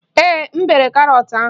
Ee, m bere karọt ahụ